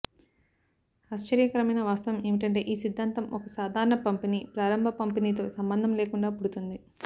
ఆశ్చర్యకరమైన వాస్తవం ఏమిటంటే ఈ సిద్దాంతం ఒక సాధారణ పంపిణీ ప్రారంభ పంపిణీతో సంబంధం లేకుండా పుడుతుంది